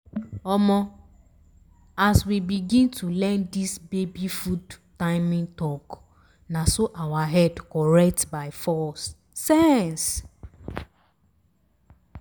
omo! as we begin to learn this baby food timing talk na so our head correct by force sense.